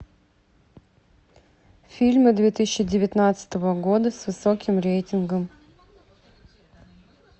фильмы две тысячи девятнадцатого года с высоким рейтингом